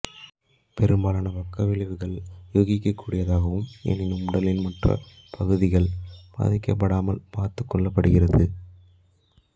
பெரும்பாலான பக்க விளைவுகள் யூகிக்கக்கூடியதாகும் எனினும் உடலின் மற்ற பகுதிகள் பாதிக்கப்படாமல் பார்த்துகொள்ளப்படுகிறது